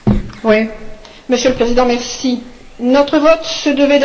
Monsieur le Président, notre vote se devait d'être négatif.